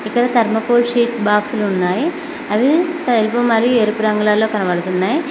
ఇక్కడ thermocol sheet బాక్స్లు ఉన్నాయి అవి తెలుపు మరియు ఎరుపు రంగులలో కనబడుతున్నాయి.